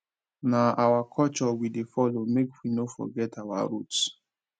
na our culture we dey follow make we no forget our roots